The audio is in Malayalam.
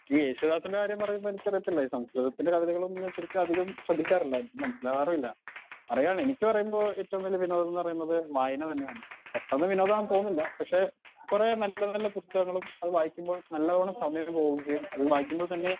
ഈ യേശുദാസിൻ്റെ കാര്യം പറയുമ്പോ എനിക്കറിയത്തില്ല ഈ സംശോയാഗത്തിന്റെ കവിതകളും ഞാൻ ശരിക്ക് അധികം ശ്രെദ്ധിക്കാറില്ല എനിക്ക് മനസിലാകാറില്ല അറിയാണ് എനിക്ക് പറയുമ്പോ ഏറ്റവും വലിയ വിനോദം ന്ന് പറേണത് വായന തന്നെയാണ് പെട്ടന്ന് വിനോദാണ് തോന്നില്ല പക്ഷെ കൊറേ നല്ല നല്ല ബുസ്തകങ്ങളും അത് വായിക്കുമ്പോൾ നല്ലവണ സമയം പോവും ചെയ്യും അത് വായിക്കുമ്പോൾ തന്നെ